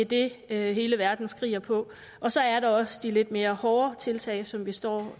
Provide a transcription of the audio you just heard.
det er det hele verden skriger på og så er der også de lidt mere hårde tiltag som vi står